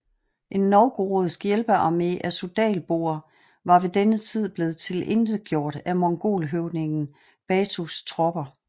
En novgorodsk hjælpearmé af suzdalboer var ved denne tid blevet tilintetgjort af mongolhøvdingen Batus tropper